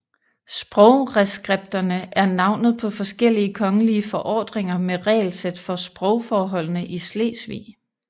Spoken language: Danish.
Sprogreskripterne er navnet på forskellige kongelige forordninger med regelsæt for sprogforholdene i Slesvig